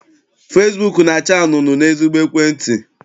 Fesibuuku na-acha anunuu n'ezigbo ekwentị.